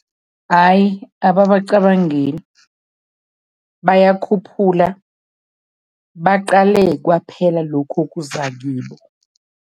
Ayi, ababacabangeli. Bayakhuphula baqale kwaphela lokhu okuza kibo.